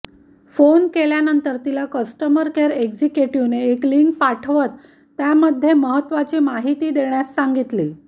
phone केल्यानंतर तिला customer care एग्जिक्युटिव्हने एक लिंक पाठवत त्यामध्ये महत्वाची माहिती देण्यास सांगितली